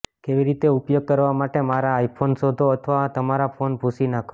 કેવી રીતે ઉપયોગ કરવા માટે મારા આઇફોન શોધો અથવા તમારા ફોન ભૂંસી નાખો